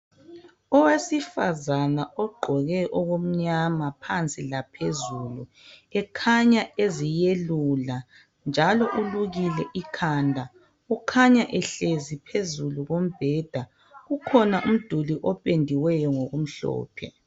Owesifazana ogqoke okumnyama phansi laphezulu ekhanya eziyelula njalo ulukile ikhanda. Ukhanya ehlezi phezu kombheda. Ukhona umduli opendiweyo ngokumhlophe.